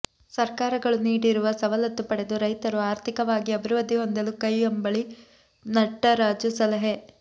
ಸರ್ಕಾರಗಳು ನೀಡಿರುವ ಸವಲತ್ತು ಪಡೆದು ರೈತರು ಆರ್ಥಿಕವಾಗಿ ಅಭಿವೃದ್ಧಿ ಹೊಂದಲು ಕೈಯಂಬಳ್ಳಿ ನಟರಾಜು ಸಲಹೆ